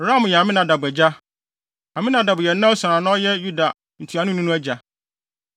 Ram yɛ Aminadab agya. Aminadab yɛ Nahson a na ɔyɛ Yuda ntuanoni no agya.